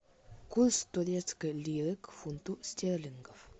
курс турецкой лиры к фунту стерлингов